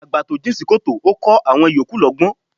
Àgbà to jìn sí kòtò ó kọ́ àwọn ìyókù lọ́gbọ́n.